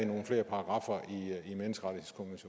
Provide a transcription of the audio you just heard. nogle flere paragraffer